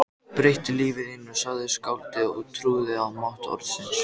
Breyttu lífi þínu sagði skáldið og trúði á mátt orðsins